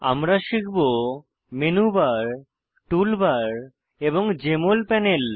আমরা শিখব menu bar tool bar এবং জেএমএল প্যানেল